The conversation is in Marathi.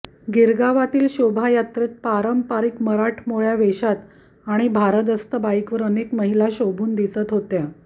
गिरगावातील शोभा यात्रेत पारंपारिक मराठमोळ्या वेशात आणि भारदस्त बाईकवर अनेक महिला शोभून दिसत होत्या